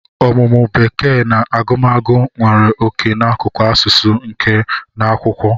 Ọmụmụ Bekee na agụmagụ nwere oke n'akụkụ asụsụ, nka na akwụkwọ.